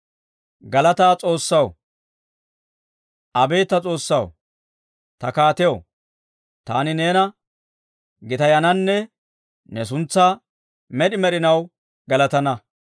Abeet ta S'oossaw, ta kaatiyaw, taani neena gitayananne, ne suntsaa med'i med'inaw galatana.